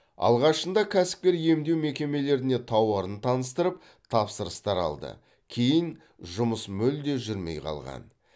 алғашында кәсіпкер емдеу мекемелеріне тауарын таныстырып тапсырыстар алды кейін жұмыс мүлде жүрмей қалған